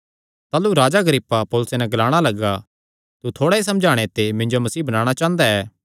ताह़लू राजा अग्रिप्पा पौलुसे नैं ग्लाणा लग्गा तू थोड़ा ई समझाणे ते मिन्जो मसीह बणाणा चांह़दा ऐ